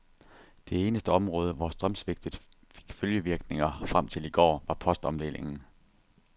Det eneste område, hvor strømsvigtet fik følgevirkninger frem til i går, var postomdelingen.